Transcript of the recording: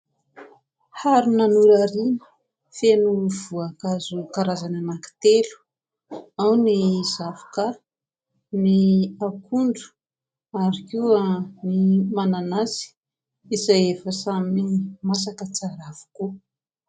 Harona norariana feno voankazo karazany anakitelo : ao ny zavoka, ny akondro ary koa ny mananasy izay efa samy masaka tsara avokoa.